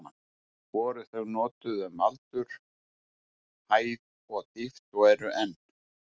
Voru þau notuð um aldur, hæð og dýpt og eru enn.